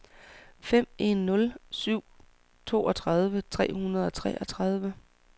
fem en nul syv toogtredive tre hundrede og treogtredive